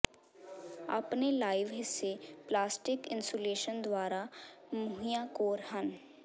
ਆਪਣੇ ਲਾਈਵ ਹਿੱਸੇ plastic insulation ਦੁਆਰਾ ਮੁਹੱਈਆ ਕੋਰ ਹਨ